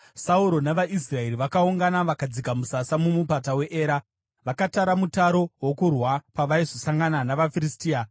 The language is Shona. Sauro navaIsraeri vakaungana vakadzika musasa mumupata weEra, vakatara mutaro wokurwa pavaizosangana navaFiristia.